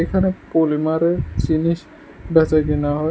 এখানে পলিমারের জিনিস বেচাকেনা হয়।